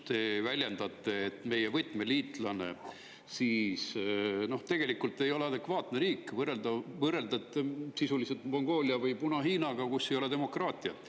Te väljendate, et meie võtmeliitlane ei ole tegelikult adekvaatne riik, see on sisuliselt võrreldav Mongoolia või Puna-Hiinaga, kus ei ole demokraatiat.